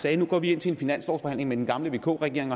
at de nu går ind til en finanslovsforhandling med den gamle vk regering